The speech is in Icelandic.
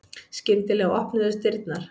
Skyndilega opnuðust dyrnar.